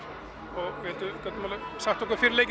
það gátum við sagt okkur fyrir leikinn